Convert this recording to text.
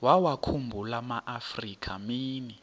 wawakhumbul amaafrika mini